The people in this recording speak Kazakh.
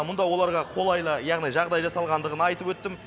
мұнда оларға қолайлы яғни жағдай жасалғандығын айтып өттім